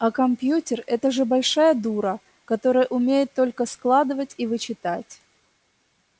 а компьютер это же большая дура которая умеет только складывать и вычитать